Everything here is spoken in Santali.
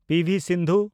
ᱯᱤ.ᱵᱷᱤ. ᱥᱤᱱᱫᱷᱩ